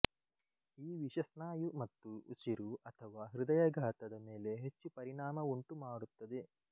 ಈ ವಿಷ ಸ್ನಾಯು ಮತ್ತು ಉಸಿರು ಅಥವಾ ಹೃದಯಾಘಾತದ ಮೇಲೆ ಹೆಚ್ಚು ಪರಿಣಾಮವುಂಟುಮಾಡುತ್ತದೆ